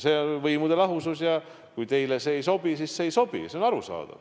Meil on võimude lahusus ja kui teile see ei sobi, siis see ei sobi – see on arusaadav.